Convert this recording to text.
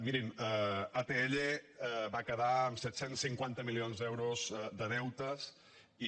mirin atll va quedar amb set cents i cinquanta milions d’euros de deutes i